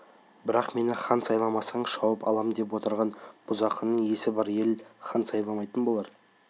бірақ мені хан сайламасаң шауып алам деп отырған бұзақыны есі бар ел хан сайламайтын болар